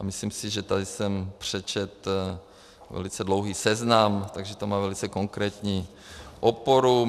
A myslím si, že tady jsem přečetl velice dlouhý seznam, takže to má velice konkrétní oporu.